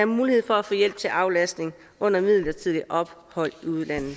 mulighed for at få hjælp til aflastning under midlertidige ophold i udlandet